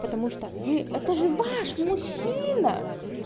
потому что вы это же ваш мужчина